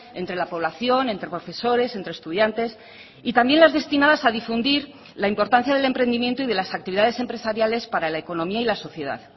entre la población entre profesores entre estudiantes y también las destinadas a difundir la importancia del emprendimiento y de las actividades empresariales para la economía y la sociedad